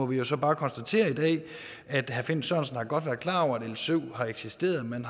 vi må så bare konstatere i dag at herre finn sørensen godt har været klar over at l syv har eksisteret men